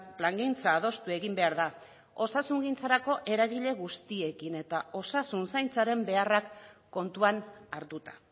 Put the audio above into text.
plangintza adostu egin behar da osasungintzarako eragile guztiekin eta osasun zaintzaren beharrak kontuan hartuta